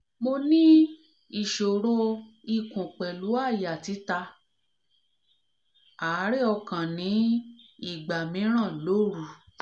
mo ní ìṣòro ikun pelu aya tita àárẹ̀ ọkàn ni igba miran l'òru